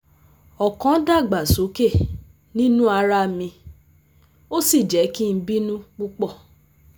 O kan dagbasoke ninu ara mi o si jẹ ki n binu pupọ